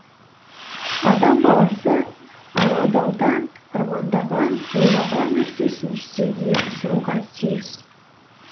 адам баласы армандаудан армандаған ойлаған нәрсесін жүзеге асыруға тиіс